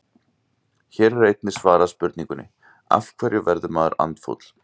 Hér er einnig svarað spurningunum: Af hverju verður maður andfúll?